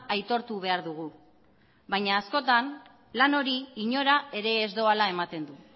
aitortu behar dugu baina askotan lan hori inora ere ez doala ematen du